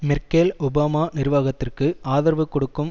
Merkel Obama நிர்வாகத்திற்கு ஆதரவு கொடுக்கும்